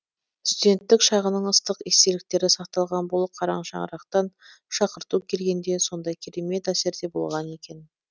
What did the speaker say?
студенттік шағының ыстық естеліктері сақталған бұл қарашаңырақтан шақырту келгенде сондай керемет әсерде болған екен